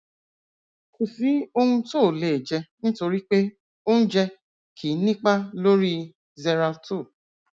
kò sí ohun tó ò le jẹ nítorí pé oúnjẹ kìí nípa lórí xeralto